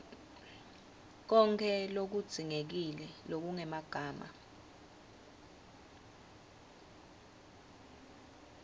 konkhe lokudzingekile lokungemagama